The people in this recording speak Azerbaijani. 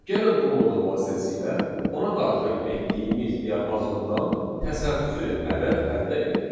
Gəlin bu modul vasitəsilə ona daxil etdiyimiz diapazondan təsadüfi ədəd əldə edək.